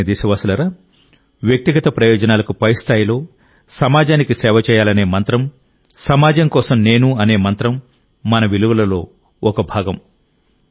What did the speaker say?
నా ప్రియమైన దేశవాసులారా వ్యక్తిగత ప్రయోజనాలకు పై స్థాయిలో సమాజానికి సేవ చేయాలనే మంత్రం సమాజం కోసం నేను అనే మంత్రం మన విలువలలో ఒక భాగం